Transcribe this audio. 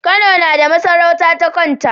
Kano nada masarauta ta kanta